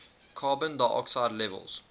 carbon dioxide levels